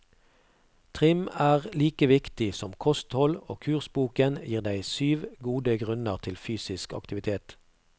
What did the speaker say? Trim er like viktig som kosthold, og kursboken gir deg syv gode grunner til fysisk aktivitet.